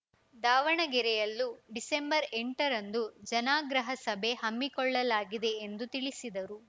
ದಾವಣಗೆರೆಯಲ್ಲೂ ಡಿಸೆಂಬರ್ಎಂಟರಂದು ಜನಾಗ್ರಹ ಸಭೆ ಹಮ್ಮಿಕೊಳ್ಳಲಾಗಿದೆ ಎಂದು ತಿಳಿಸಿದರು